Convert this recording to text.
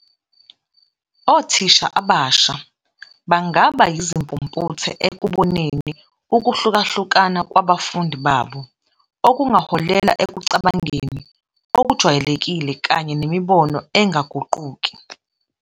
Othisha abasha bangaba yizimpumputhe ekuboneni ukuhlukahluka kwabafundi babo, okungaholela ekucabangeni okujwayelekile kanye nemibono engaguquki.